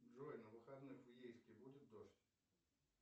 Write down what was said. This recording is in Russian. джой на выходных в ейске будет дождь